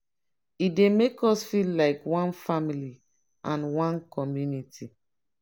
e dey make us feel like one family and one community.